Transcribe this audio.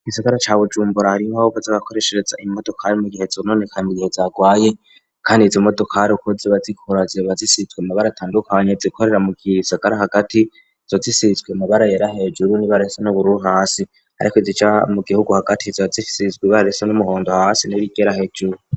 Igisagara ca bujumbura arimbova zagakoreshereza imodokari mu gihe zononekami gihe zagwaye kandi za imodokari ukuze bazikoraje bazisitwe mabara tandukanye zikorera mu gisagara hagati zozisizwe mabarayera hejuru nibarese n'ubururu hasi ariko zica mu gihugu hagati zozisizwe ibarese n'umuhondo hasi nurigera hejuru.